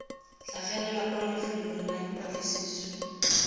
tlhagelela kwa lefelong la dipatlisiso